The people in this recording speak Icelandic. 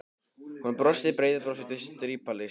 Hún brosti breiðu brosi til strípalingsins.